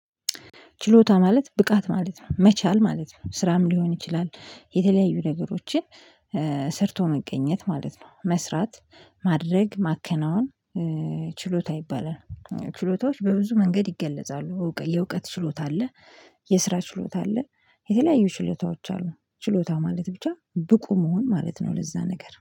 ችሎታ ማለት ብቃት ማለት ነው መቻል ማለት ነው ስራም ሊሆን ይችላል የተለያዩ ነገሮችን ሰርቶ መቀገት ማለት ነው። መስራት ማድረግ ማከናወን ችሎታ ይባላል ችሎታዎች በብዙ መንገድ ይገለጻሉ የእውቀት ችሎታ አለ። የስራ ችሎታ አለ የተለያዩ ችሎታዎች አሉ። ችሎታ ማለት ብቻ ብቁ መሆን ማለት ነው። ለዛ ነገር